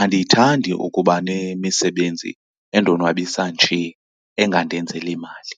andiyithandi ukuba nemisebenzi endonwabisa nje engandenzeli mali.